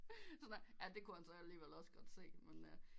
Sådan her ja det kunne han ellers også godt se men øh